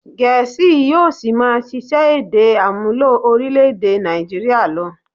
Gẹ̀ésì yóò ṣì máa ṣiṣẹ́ èdè àmúlò orílè-èdè Nàìjíríà lọ.